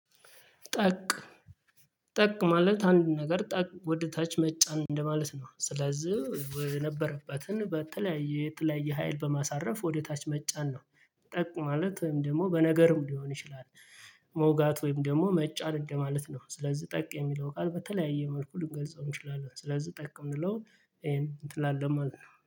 ጠቅ ጠቅ ማለት አንድ ነገር ጠቅ ወደ ታች መጫን እንደማለት ነው ስለዚህ ወደነበረባትን በተለያየ የተለያየ ሀይል በማሳረፍ ወደ ታች መጫን ነው። ጠቅማለት ወይም ደግሞ በነገርም ሊሆን ይችላል። መውጋት ወይም ደግሞ መጫን እንደማለት ነው ስለዚህ ጠቅ የሚለው ቃል በተለያየ መልኩ ልንገልጸው እንችላለን። ስለዚህ ጠቅ የምንለው እንትን ላለው ማለት ነው